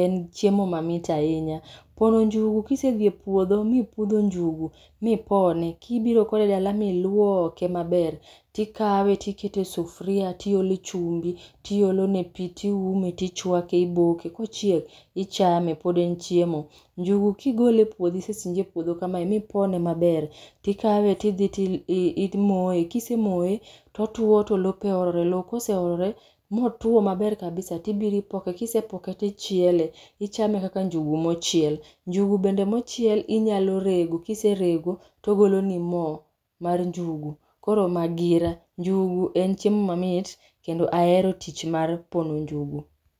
en chiemo mamit ahinya. Koro njugu kisedhi e puodho mipudho njugu, mipone, kibiro kode dal m iluoke maber, tikawe tikete sufria, tiole chumbi, tiolone pii tiumo tichwake iboke, kochiek ichame pod en chiemo. Njugu kigole e puodho isesinje e puodho kamae mipone maber, tikawe tidhi imoye, kisemoye, totuo to lope olore, loo koseolore motuo maber kabisa, tibiro ipoke, kisopoke tichiele, ichame kaka njugu mochiel. Njugu bende mochiel inyalo rego kiserego togoloni moo mar njugu, koro magira. Njugu en chiemo mamit kendo ahero tich mar pono njgu